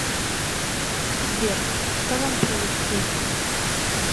сбер что вам принести